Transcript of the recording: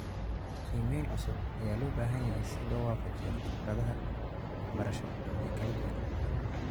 Qiimayn cusub ayaa loo baahan yahay si loo waafajiyo khibradaha waxbarasho ee kala duwan.